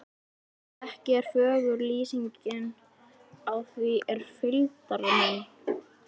Ekki er fögur lýsingin á því er fylgdarmenn